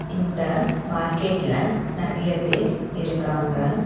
இந்த மார்க்கெட்ல நறைய பேர் இருக்காங்க.